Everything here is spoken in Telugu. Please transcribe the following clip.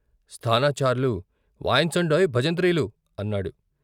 స్థానాచార్లు వాయించండోయ్ భజంత్రీలు అన్నాడు.